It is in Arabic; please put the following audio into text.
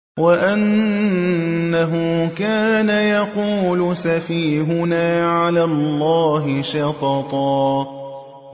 وَأَنَّهُ كَانَ يَقُولُ سَفِيهُنَا عَلَى اللَّهِ شَطَطًا